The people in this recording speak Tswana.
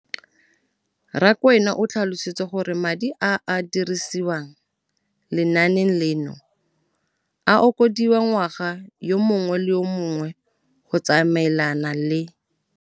Rakwena o tlhalositse gore madi a a dirisediwang lenaane leno a okediwa ngwaga yo mongwe le yo mongwe go tsamaelana le.